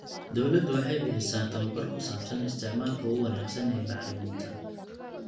Dawladdu waxay bixisaa tababar ku saabsan isticmaalka ugu wanaagsan ee bacriminta.